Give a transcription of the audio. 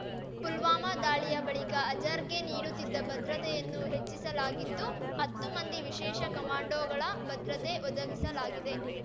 ಪುಲ್ವಾಮಾ ದಾಳಿಯ ಬಳಿಕ ಅಜರ್‌ಗೆ ನೀಡುತ್ತಿದ್ದ ಭದ್ರತೆಯನ್ನು ಹೆಚ್ಚಿಸಲಗಿದ್ದು ಹತ್ತು ಮಂದಿ ವಿಶೇಷ ಕಮಾಂಡೊಗಳ ಭದ್ರತೆ ಒದಗಿಸಲಾಗಿದೆ